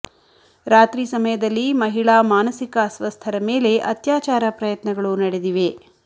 ರಾತ್ರಿ ಸಮಯದಲ್ಲಿ ಮಹಿಳಾ ಮಾನಸಿಕ ಅಸ್ವಸ್ಥರ ಮೇಲೆ ಅತ್ಯಾಚಾರ ಪ್ರಯತ್ನಗಳು ನಡೆದಿವೆ